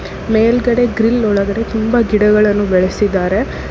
ಮೇಲ್ಗಡೆ ಗ್ರಿಲ್ ಒಳಗಡೆ ತುಂಬಾ ಗಿಡಗಳನ್ನು ಬೆಳೆಸಿದರೆ.